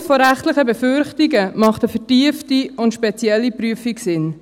Aufgrund von rechtlichen Befürchtungen macht eine vertiefte und spezielle Prüfung Sinn.